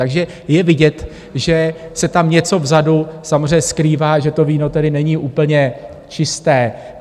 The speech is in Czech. Takže je vidět, že se tam něco vzadu samozřejmě skrývá, že to víno tedy není úplně čisté.